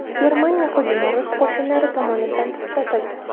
Germaniya hujumi rus qo‘shinlari tomonidan to‘xtatildi.